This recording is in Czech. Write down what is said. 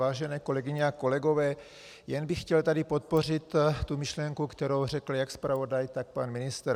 Vážené kolegyně a kolegové, jen bych chtěl tady podpořit tu myšlenku, kterou řekl jak zpravodaj, tak pan ministr.